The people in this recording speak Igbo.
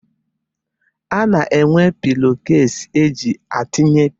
A na-enwe pilo kesi e ji atinye pilo.